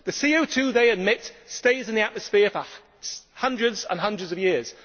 The CO 2 they emit stays in the atmosphere for hundreds and hundreds of years.